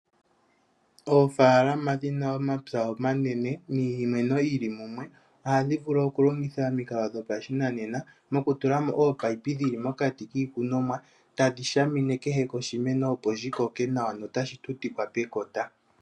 Oofaalama dhina omapya omanene niimeno yili mumwe ohadhi vulu okulongitha omikalo dhopashinanena, mokutula mo ominino dhili mokati kiikunomwa tadhi shamine kehe koshimeno opo shi koke nawa nota shi tutikwa pekota.